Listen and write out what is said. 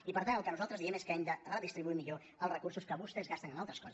i per tant el que nosaltres diem és que hem de redistribuir millor els recursos que vostès gasten en altres coses